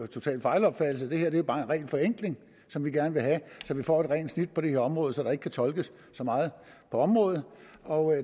total fejlopfattelse det her er bare en ren forenkling som vi gerne vil have så vi får et rent snit på det her område så der ikke kan tolkes så meget på området og